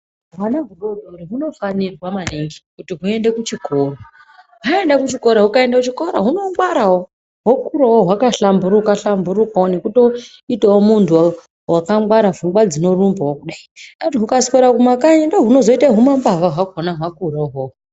Hwana hudoodori hunofanirwa maningi kuti huende kuchikora. Hwaende kuchikora, hukaende kuchikora hunongwarawo hwokurawo hwakahlamburuka hlamburukawo nekutoitawo muntu wakangwara, pfungwa dzinorumbawo kudai. Hukaswera mumakanyi ndohunozoite humambavha hwakhona hwakura uhwohwo.